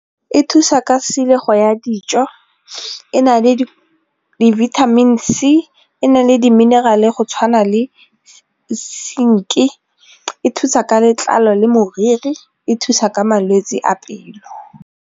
E thusa ka tshilego ya dijo, e na le di-vitamin C, e na le di-mineral-e go tshwana le e thusa ka letlalo le moriri, e thusa ka malwetse a pelo.